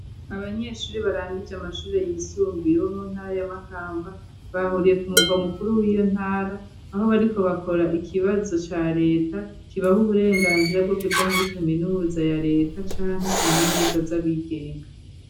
Abanyeshure barangije amashure yisumbuye bo mu ntara ya Makamba, bahuriye ku mugwa mukuru w'iyo ntara, aho bariko bakora ikibazo ca reta kibaha uburenganzira bwo kuja muri kaminuza ya reta canke kaminuza z'abigenga.